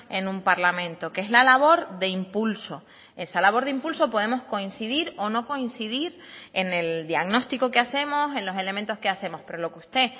en un parlamento que es la labor de impulso esa labor de impulso podemos coincidir o no coincidir en el diagnóstico que hacemos en los elementos que hacemos pero lo que usted